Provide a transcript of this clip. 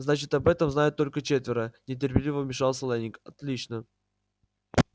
значит об этом знают только четверо нетерпеливо вмешался лэннинг отлично